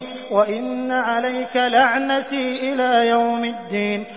وَإِنَّ عَلَيْكَ لَعْنَتِي إِلَىٰ يَوْمِ الدِّينِ